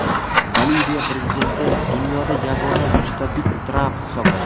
Boliviya prezidenti: Dunyoda yagona mustabid Tramp hisoblanadi.